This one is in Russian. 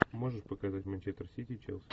можешь показать манчестер сити челси